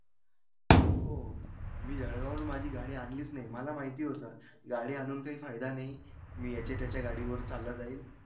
हो. मी जळगाववरून माझी गाडी आणलीच नाही. मला माहिती होतं गाडी आणून काही फायदा नाही. मी याच्या त्याच्या गाडीवरून चालला जाईन.